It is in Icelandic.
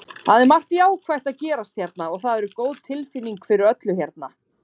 Það er margt jákvætt að gerast hérna og það er góð tilfinning fyrir öllu hérna.